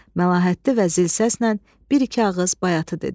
Məlahətli və zil səslə bir-iki ağız bayatı dedi.